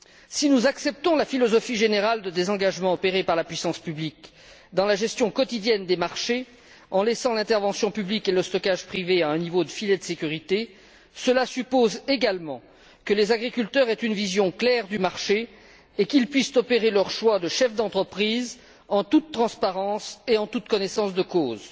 Si nous acceptons la philosophie générale de désengagement, opérée par la puissance publique dans la gestion quotidienne des marchés, en laissant l'intervention publique et le stockage privé à un niveau de filet de sécurité, cela suppose également que les agriculteurs aient une vision claire du marché et qu'ils puissent opérer leur choix de chef d'entreprise en toute transparence et en toute connaissance de cause.